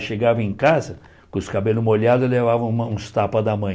Eu chegava em casa com os cabelos molhados e levava um uns tapas da mãe.